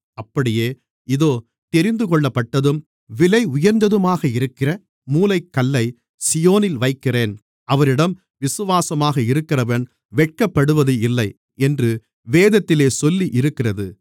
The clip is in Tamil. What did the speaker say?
அப்படியே இதோ தெரிந்துகொள்ளப்பட்டதும் விலையுயர்ந்ததுமாக இருக்கிற மூலைக்கல்லைச் சீயோனில் வைக்கிறேன் அவரிடம் விசுவாசமாக இருக்கிறவன் வெட்கப்படுவது இல்லை என்று வேதத்திலே சொல்லியிருக்கிறது